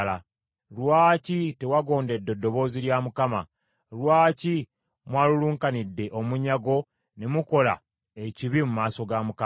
Lwaki tewagondedde ddoboozi lya Mukama ? Lwaki mwalulunkanidde omunyago ne mukola ekibi mu maaso ga Mukama ?”